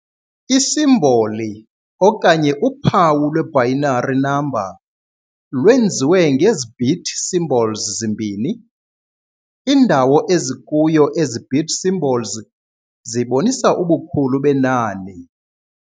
I-simboli okanye uphawu lwe-binary number lwenziwe ngezi-bit symbols zimbini. indawo ezikuyo ezi-bit symbols zibonisa ubukhulu benani.